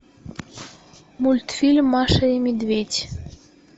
мультфильм маша и медведь